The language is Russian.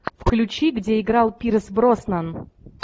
включи где играл пирс броснан